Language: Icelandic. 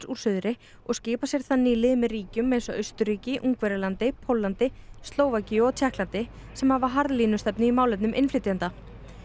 úr suðri og skipar sér þannig í lið með ríkjum eins og Austurríki Ungverjalandi Póllandi Slóvakíu og Tékklandi sem hafa harðlínustefnu í málefnum innflytjenda